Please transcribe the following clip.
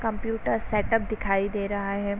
Computer setup दिखाई दे रहा है।